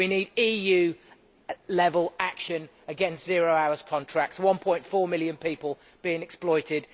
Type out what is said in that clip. We need EU level action against zero hours contracts, against 1.4 million people being exploited